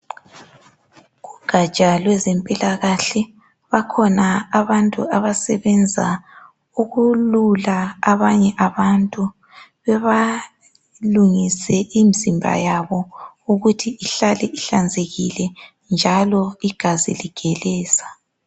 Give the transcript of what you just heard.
Kugaja lwezemphilakahl bakhona abantu abasebenza ukwelula abantu, bebalungise umzimba yabo ukuthi ihlale ihlanzekile njalo igazi ligeleza.